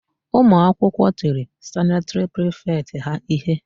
Ụmụakwụkwọ tiri sanịtịrị prifetị ha íhé.